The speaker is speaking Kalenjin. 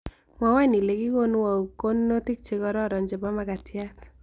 Mwowon ile kigonuu au konunotik chegororon chebo magatiat